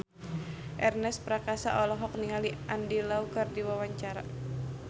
Ernest Prakasa olohok ningali Andy Lau keur diwawancara